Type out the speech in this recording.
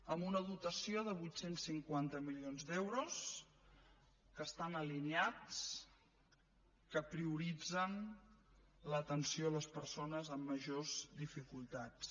amb una dotació de vuit cents i cinquanta milions d’euros que estan alineats que prioritzen l’atenció a les persones amb majors dificultats